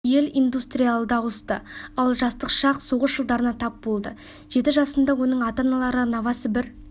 ел индустриалды ауысты ал жастық шақ соғыс жылдарына тап болды жеті жасында оның ата-аналары новосібір